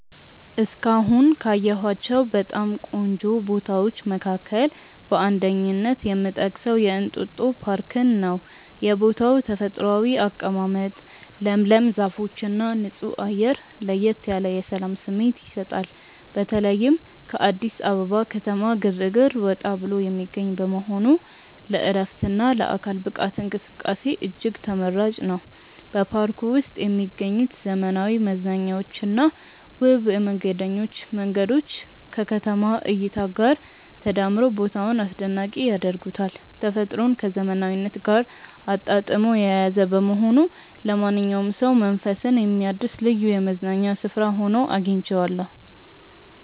እስካሁን ካየኋቸው በጣም ቆንጆ ቦታዎች መካከል በአንደኝነት የምጠቀሰው የእንጦጦ ፓርክን ነው። የቦታው ተፈጥሯዊ አቀማመጥ፣ ለምለም ዛፎችና ንጹህ አየር ለየት ያለ የሰላም ስሜት ይሰጣል። በተለይም ከአዲስ አበባ ከተማ ግርግር ወጣ ብሎ የሚገኝ በመሆኑ ለዕረፍትና ለአካል ብቃት እንቅስቃሴ እጅግ ተመራጭ ነው። በፓርኩ ውስጥ የሚገኙት ዘመናዊ መዝናኛዎችና ውብ የመንገደኞች መንገዶች ከከተማዋ እይታ ጋር ተዳምረው ቦታውን አስደናቂ ያደርጉታል። ተፈጥሮን ከዘመናዊነት ጋር አጣጥሞ የያዘ በመሆኑ ለማንኛውም ሰው መንፈስን የሚያድስ ልዩ የመዝናኛ ስፍራ ሆኖ አግኝቼዋለሁ።